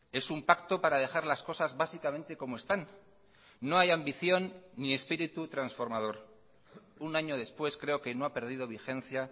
es un pacto para dejar las cosas básicamente como están no hay ambición ni espíritu transformador un año después creo que no ha perdido vigencia